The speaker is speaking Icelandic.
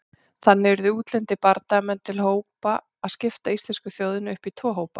Þannig urðu útlendir bardagamenn til að skipta íslensku þjóðinni upp í tvo hópa.